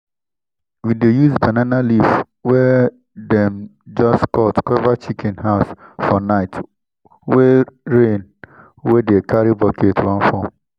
we dey use banana leaf wey dem just cut cover chicken house for night wey rain wey dey carry bucket wan fall.